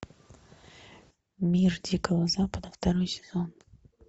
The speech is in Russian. мир дикого запада второй сезон